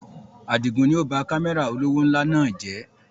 Àdigun ni ó ba Kámẹ́rà olówó ńlá náà jẹ̀